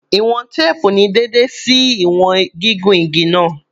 Iwọn teepu ni deede ṣe iwọn gigun ti igi naa